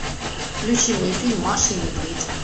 включи мне фильм маша и медведь